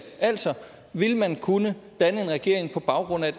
altså vil man kunne danne en regering på baggrund af